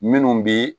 Minnu bi